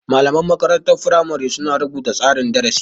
Malaman makarantar firamari su na rubuta tsarin darasi